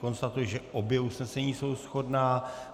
Konstatuji, že obě usnesení jsou shodná.